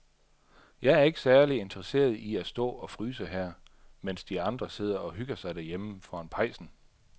Jeg er ikke særlig interesseret i at stå og fryse her, mens de andre sidder og hygger sig derhjemme foran pejsen.